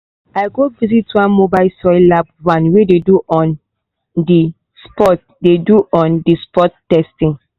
i go visit one mobile soil lab van wey dey do on-the-spot dey do on-the-spot testing.